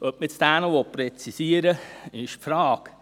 Ob man diesen noch präzisieren will, das ist die Frage.